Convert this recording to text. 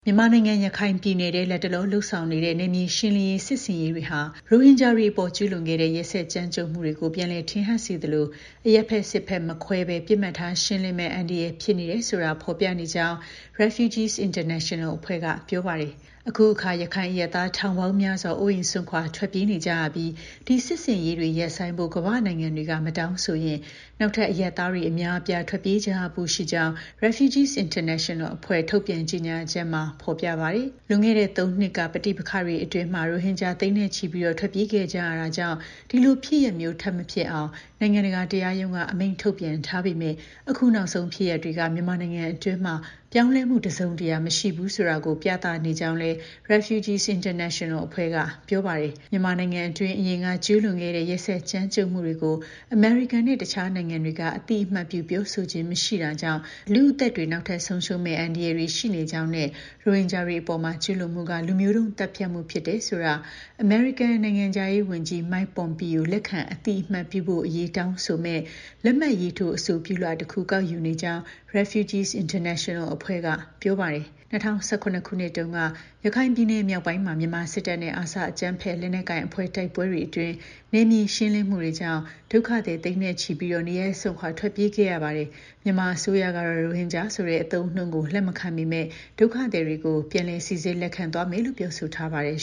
မြန်မာနိုင်ငံ၊ ရခိုင်ပြည်နယ်ထဲ လတ်တလော လုပ်ဆောင်နေတဲ့ နယ်မြေရှင်းလင်းရေး စစ်ဆင်ရေးတွေဟာ ရိုဟင်ဂျာတွေအပေါ် ကျူးလွန်ခဲ့တဲ့ ရက်စက် ကြမ်းကြုတ်မှုတွေကို ပြန်လည် ထင်ဟပ်စေသလို၊ အရပ်ဘက်၊ စစ်ဘက် မခွဲဘဲ ပစ်မှတ်ထားရှင်းလင်းမယ့် အန္တရာယ်ဖြစ်နေတယ်ဆိုတာ ဖော်ပြနေကြောင်း REFUGEES INTERNATONAL အဖွဲ့က ပြောပါတယ်။ အခုအခါ ရခိုင်အရပ်သား ထောင်ပေါင်းများစွာ အိုးအိမ်စွန့်ခွာ ထွက်ပြေးနေကြရပြီး ဒီ စစ်ဆင်ရေးတွေ ရပ်ဆိုင်းဖို့ ကမ္ဘာ့နိုင်ငံတွေက မတောင်းဆိုဘူးဆိုရင် နောက်ထပ် အရပ်သားတွေ အများအပြား ထွက်ပြေးကြရဖို့ ရှိကြောင်း REFUGEES INTERNATONAL အဖွဲ့ ထုတ်ပြန် ကြေညာချက်မှာ ပါရှိပါတယ်။ လွန်ခဲ့တဲ့ ၃ နှစ်က ပဋိပက္ခတွေအတွင်း ရိုဟင်ဂျာ သိန်းဂဏန်း ထွက်ပြေးခဲ့ကြရတာကြောင့် ဒီလို ဖြစ်ရပ်မျိုး ထပ် မဖြစ်ပွားအောင် နိုင်ငံတကာ တရားရုံးက အမိန့်ထုတ်ပြန်ထားပေမဲ့ အခု နောက်ဆုံး ဖြစ်ရပ် တွေက မြန်မာနိုင်ငံအတွင်း ပြောင်းလဲမှု တစ်စုံတစ်ရာ မရှိဘူးဆိုတာကို ပြသနေကြောင်းလည်း REFUGEE INTERNATIONAL က ပြောပါတယ်။ မြန်မာနိုင်ငံအတွင်း အရင်က ကျူးလွန်ခဲ့တဲ့ ရက်စက် ကြမ်းကြုတ်မှုတွေကို အမေရိကန်နဲ့ တခြားနိုင်ငံတွေက အသိအမှတ်ပြု ပြောဆိုခြင်း မရှိတာကြောင့် လူ့အသက်တွေ နောက်ထပ် ဆုံးရှုံးမယ့် အန္တရာယ်တွေ ရှိနေကြောင်းနဲ့ ရိုဟင်ဂျာတွေအပေါ် ကျူးလွန်မှုက လူမျိုးတုန်း သတ်ဖြတ်မှု ဖြစ်တယ်ဆိုတာကို အမေရိကန် နိုင်ငံခြားရေး ဝန်ကြီး Mike Pompeo လက်ခံအသိအမှတ်ပြုဖို့အရေး တောင်းဆိုမယ့် လက်မှတ်ရေးထိုး အဆိုပြုလွှာ တစ်ခု ကောက်ယူနေကြာင်း REFUGEE INTERNATIONAL အဖွဲ့က ပြောပါတယ်။ ၂၀၁၇ ခုနှစ်တုန်းက ရခိုင်ပြည်နယ်မြောက်ပိုင်းမှာ မြန်မာစစ်တပ်နဲ့ ARSA အကြမ်းဖက်လက်နက်ကိုင်အဖွဲ့ တိုက်ပွဲတွေအတွင်း နယ်မြေရှင်းလင်းမှုတွေကြောင့် ဒုက္ခသည် သိန်းနဲ့ ချီပြီးနေရပ်စွန့်ခွာ ထွက်ပြေးခဲ့ရပါတယ်။ မြန်မာအစိုးရကတော့ ရိုဟင်ဂျာဆိုတဲ့ အသုံးအနှုန်းကို လက်မခံပေမဲ့ ဒုက္ခသည်တွေကို ပြန်လည် စိစစ်လက်ခံသွားမယ်လို့ ပြောဆိုထားပါတယ်